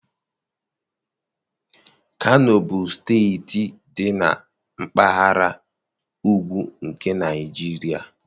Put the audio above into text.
Kano bụ steeti dị na Mpaghara ugwu na Naịjirịa.